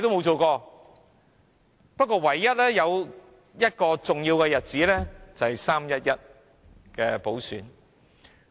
政府唯一記得的是一個重要日子——"三一一"補選。